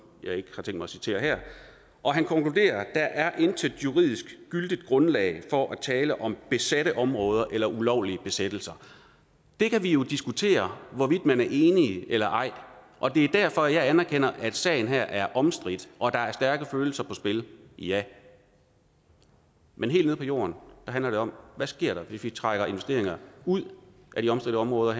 jeg ikke har tænkt mig at citere her og han konkluderer der er intet juridisk gyldigt grundlag for at tale om besatte områder eller ulovlige besættelser det kan vi jo diskutere hvorvidt man er enig i eller ej og det er derfor at jeg anerkender at sagen her er omstridt og at der er stærke følelser på spil ja men helt nede på jorden handler det om der sker hvis vi trækker investeringer ud af de omstridte områder